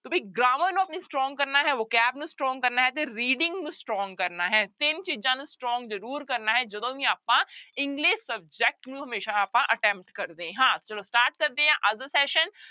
grammar ਨੂੰ ਆਪਣੀ strong ਕਰਨਾ ਹੈ vocabulary ਨੂੰ strong ਕਰਨਾ ਹੈ ਤੇ reading ਨੂੰ strong ਕਰਨਾ ਹੈ ਤਿੰਨ ਚੀਜ਼ਾਂ ਨੂੰ strong ਜ਼ਰੂਰ ਕਰਨਾ ਹੈ ਜਦੋਂ ਵੀ ਆਪਾਂ english subject ਨੂੰ ਹਮੇਸ਼ਾ ਆਪਾਂ attempt ਕਰਦੇ ਹਾਂ, ਚਲੋ start ਕਰਦੇ ਹਾਂ ਅੱਜ ਦਾ session